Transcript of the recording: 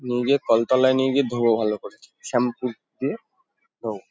নিয়ে গিয়ে কলতলায় নিয়ে গিয়ে ধোব ভালো করে। শ্যাম্পু দিয়ে ধোব।